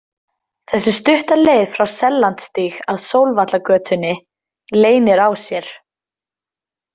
Þessi stutta leið frá Sellandsstíg að Sólvallagötunni leynir á sér.